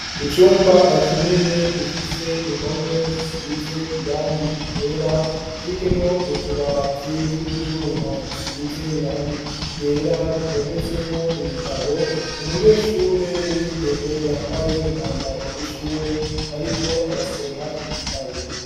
Icumba kinini gifise impome zisize irangi ryera kirimwo utubati tw'ibyuma dusize irangi ryera dutondetsemwo ibitabo umunyeshure w'umwigeme yambaye umwambaro w'ishure ariko arasoma igitabo.